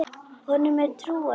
Honum er trúandi til alls.